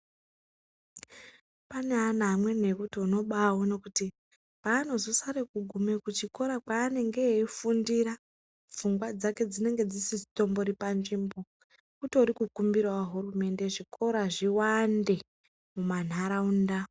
Pane ana amweni ekuti unobaaone kuti paanozosare kuguma kuchikora kweanenge eifundira, pfungwa dzake dzinenge dzisitori panzvimbo. Kutori kukumbirawo hurumende kuti zvikora zviwande mumantaraunda.